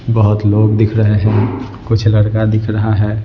बहुत लोग दिख रहे हैं कुछ लड़का दिख रहा है।